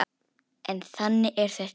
En þannig er þetta ekki.